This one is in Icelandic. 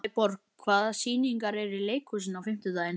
Sæborg, hvaða sýningar eru í leikhúsinu á fimmtudaginn?